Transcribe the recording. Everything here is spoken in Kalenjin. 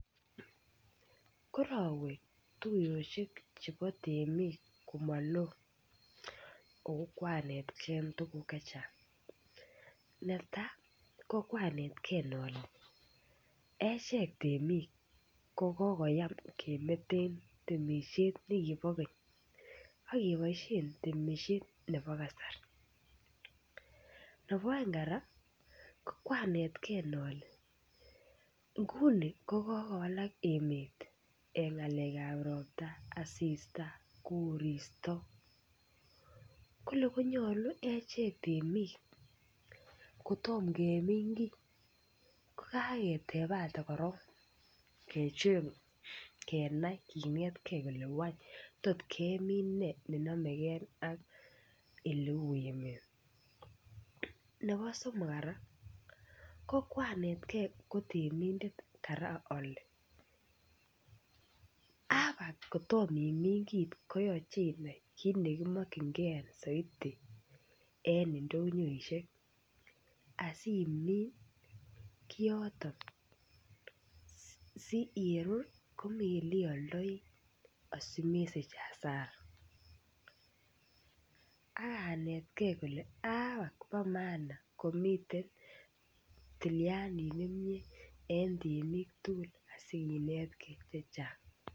Korowe tuyoshek chebo temik komoloo ako koranetgee tukuk chechang neta ko kwanetgee ole echeket temik ko kokoyam kemetem temishet nekibore Keny ak keboishen temishet nekibore kasari, nebo oeng koraa ko kwanetgee ole nguni ko kokowalak emet en ngalekab ropta asista koristo kole konyolu echek temik kotomo kemin kii ko kaketepate korong kecheng kenai kinetgee kele want tot kemin nee nenomegee ak eleu emet nebo somok koraa ko kwanetgee ko temindet koraa ole aba kotomo imin kit koyoche inai kit nekimokingee soiti en indonyoishek asimin kiyoton siyerur komii yeoldoi asimesich asara, ak anetgee kole aba bo maana komiten tiyandit nemie en temik tukul asikinetgee chechang.